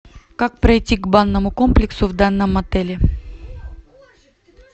как пройти к банному комплексу в данном отеле